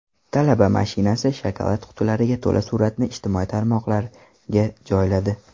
Talaba mashinasi shokolad qutilariga to‘la suratni ijtimoiy tarmoqlariga joyladi.